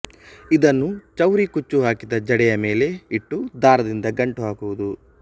ಇದನ್ನು ಚೌರಿ ಕುಚ್ಚು ಹಾಕಿದ ಜಡೆಯ ಮೇಲೆ ಇಟ್ಟು ದಾರದಿಂದ ಗಂಟು ಹಾಕುವುದು